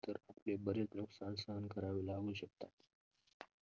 तर बरेच नुकसान सहन करावे लागू शकतात.